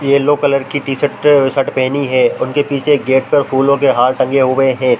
Yellow colour की t shirt और shirt पहनी है उनके पीछे गेट पर फूलों के हार टंगे हुए हैं।